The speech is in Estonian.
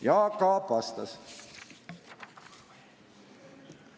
Jaak Aab vastas.